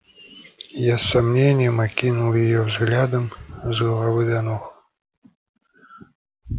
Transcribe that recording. я с сомнением окинул её взглядом с головы до ног